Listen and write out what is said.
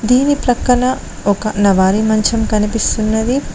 దీని ప్రక్కన ఒక నవారీ మంచం కనిపిస్తున్నది.